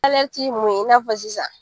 ye mun ye i n'a fɔ sisan.